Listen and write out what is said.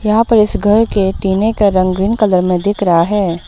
यहां पर इस घर के टिने का रंग ग्रीन कलर में दिख रहा है।